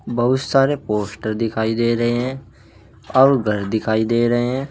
बहुत सारे पोस्ट दिखाई दे रहे हैं और घर दिखाई दे रहे हैं।